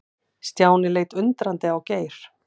Stjáni leit undrandi á Geir.